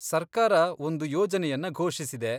ಸರ್ಕಾರ ಒಂದು ಯೋಜನೆಯನ್ನ ಘೋಷಿಸಿದೆ.